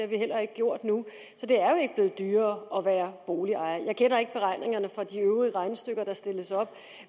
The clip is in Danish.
vi heller ikke gjort nu så det er jo ikke blevet dyrere at være boligejer jeg kender ikke beregningerne for de øvrige regnestykker der stilles op